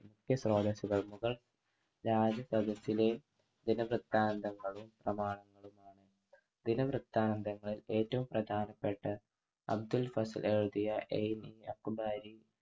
വലിയ സ്രോതസുകൾ മുഗൾ രാജസദസിലെ ദിനവൃത്താന്തങ്ങളും സമാനമായ ദിനവൃത്താന്തങ്ങൾ ഏറ്റവും പ്രധാനപ്പെട്ട അബ്ദുൾ ഭസഹ് എഴുതിയ ഏമി ആക്കുമാരി